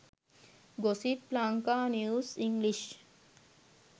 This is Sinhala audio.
gossip lanka news english